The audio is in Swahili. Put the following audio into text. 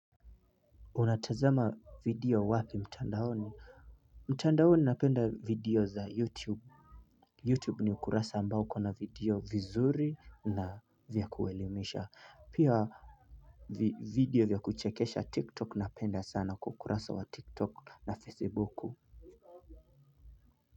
Unatazama video wapi mtandaoni mtandaoni napenda video za youtube youtube ni kurasa ambao uko na video vizuri na vya kuwaelimisha pia video vya kuchekesha tiktok napenda sana kwa ukurasa wa tiktok na facebook.